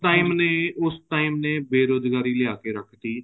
ਉਸ time ਨੇ ਉਸ time ਨੇ ਬੇਰੁਜਗਾਰੀ ਲਿਆ ਕੇ ਰੱਖਤੀ